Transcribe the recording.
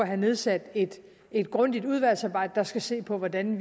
har nedsat et grundigt udvalgsarbejde der skal se på hvordan